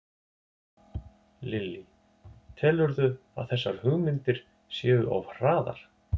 Lillý: Telurðu að þessar hugmyndir séu of hraðar?